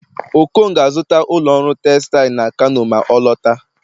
okon ga-azụta ụlọ ọrụ textile na kano ma ọ lọta